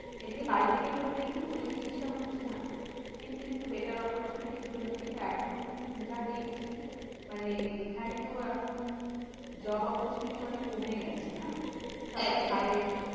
এদিকে বাড়ি থেকে করলে কি ওই জিনিসটা হচ্ছে না কিন্তু একটু better opportunity জন্য কিন্তু এখন যা দেখছি মানে এখানে তো এখন job opportunity অনেক কমে গেছে না একদম সবাই বাইরে